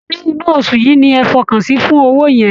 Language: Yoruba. Ṣé inú oṣù yìí ni ẹ̀ fọkàn sí fún owó yẹn?